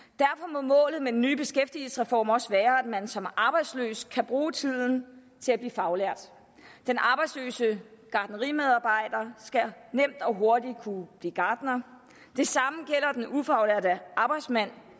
må målet med den nye beskæftigelsesreform også være at man som arbejdsløs kan bruge tiden til at blive faglært den arbejdsløse gartnerimedarbejder skal nemt og hurtigt kunne blive gartner det samme gælder den ufaglærte arbejdsmand